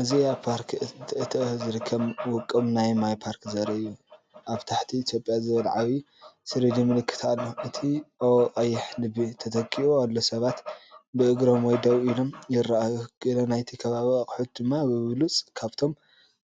እዚ ኣብ ፓርክ እንቶቶ ዝርከብ ውቁብ ናይ ማይ ፓርክ ዘርኢ እዩ። ኣብ ታሕቲ"ኢትዮጵያ"ዝብል ዓቢ 3D ምልክት ኣሎ፣ እቲ'O' ብቀይሕ ልቢ ተተኪኡ ኣሎ። ሰባት ብእግሮም ወይ ደው ኢሎም ይረኣዩ፣ ገለ ናይቲ ከባቢ ኣቑሑት ድማ ብብሉጽ ካብቶም